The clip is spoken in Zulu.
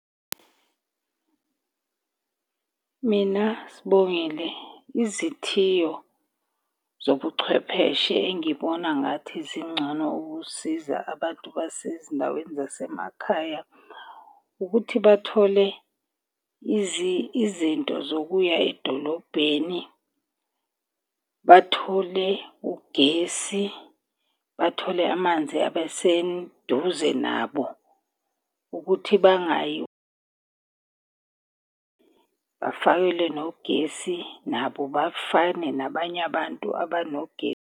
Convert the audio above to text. Mina Sibongile izithiyo zobuchwepheshe engibona ngathi zingcono ukusiza abantu basezindaweni zasemakhaya, ukuthi bathole izinto zokuya edolobheni. Bathole ugesi, bathole amanzi abe seduze nabo ukuthi bangayi. Bafakelwe nogesi nabo bafane nabanye abantu abanogesi.